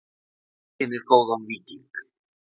Hvað einkennir góðan víking?